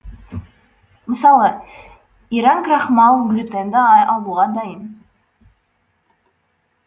мысалы иран крахмал глютенді алуға дайын